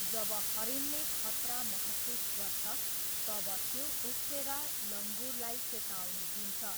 जब हरिणले खतरा महसुस गर्छ, तब त्यो उफ्रेर लङुरलाई चेतावनी दिन्छ।